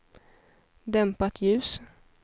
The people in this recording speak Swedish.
dämpat ljus